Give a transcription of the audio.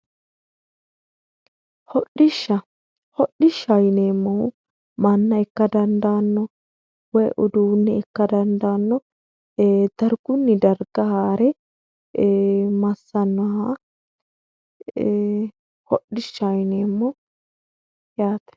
hodhishsha yineemmohu manna ikka dandaanno woy uduunne ikka dandaanno